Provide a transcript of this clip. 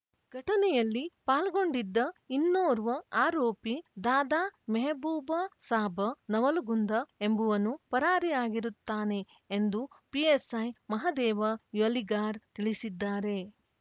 ಘಟನೆಯಲ್ಲಿ ಪಾಲ್ಗೊಂಡಿದ್ದ ಇನ್ನೋರ್ವ ಆರೋಪಿ ದಾದಾಮೆಹಬೂಬಸಾಬ್ ನವಲಗುಂದ ಎಂಬುವನು ಪರಾರಿಯಾಗಿರುತ್ತಾನೆ ಎಂದು ಪಿಎಸ್‍ಐ ಮಹದೇವ ಯಲಿಗಾರ್ ತಿಳಿಸಿದ್ದಾರೆ